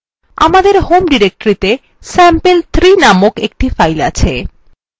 আমাদের home ডিরেক্টরিতে sample3 named একটি file আছে